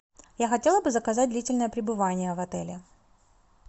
я хотела бы заказать длительное пребывание в отеле